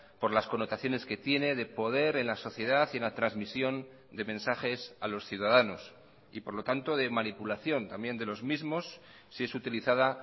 por las connotaciones que tiene de poder en la sociedad y en la transmisión de mensajes a los ciudadanos y por lo tanto de manipulación también de los mismos si es utilizada